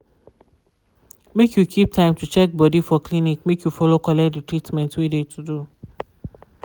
make you keep time to check body for clinic make you follow collect de treatment wey de to do.